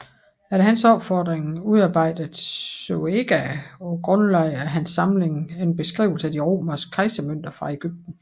Efter hans opfordring udarbejdede Zoëga på grundlag af hans samling en beskrivelse af de romerske kejsermønter fra Egypten